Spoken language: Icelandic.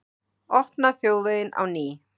Opna þjóðveginn á ný